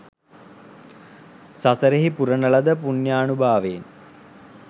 සසරෙහි පුරන ලද පුණ්‍යානුභාවයෙන්